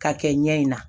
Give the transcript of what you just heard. K'a kɛ ɲɛ in na